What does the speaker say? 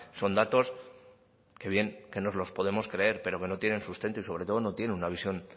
son datos que bien que nos los podemos creer pero que no tienen sustento y sobre todo no tienen una visión